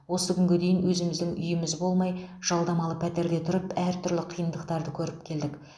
осы күнге дейін өзіміздің үйіміз болмай жалдамалы пәтерде тұрып әртүрлі қиындықтарды көріп келдік